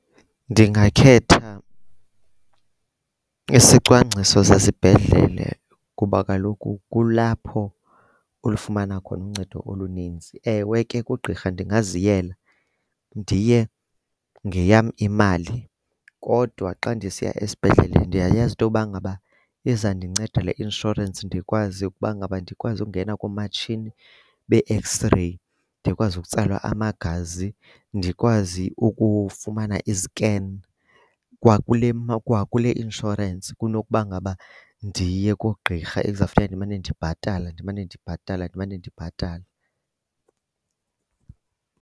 Ndingakhetha isicwangciso sesibhedlele kuba kaloku kulapho ulifumana khona uncedo oluninzi. Ewe ke kugqirha ndingaziyela, ndiye ngeyam imali. Kodwa xa ndisiya esibhedlele ndiyayazi into yokuba ngaba izandinceda le inshorensi ndikwazi ukuba ngaba, ndikwazi ukungena kumatshini bee-X-ray, ndikwazi ukutsalwa amagazi. Ndikwazi ukufumana izikeni kwakule kwakule insurance kunokuba ngaba ndiye koogqirha ekuzawufuneka ndimane ndibhatala, ndimane ndibhatala, ndimane ndibhatala.